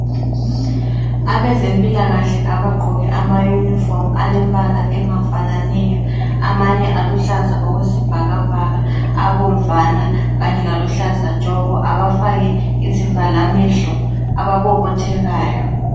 Abezempilakahle abagqoke ama uniform alembala engafananiyo, amanye aluhlaza okwesibhakabhaka, abomvana kanye laluhlaza tshoko, abafake izivalamehlo, ababobothekayo.